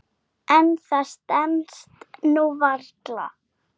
En það stenst nú varla.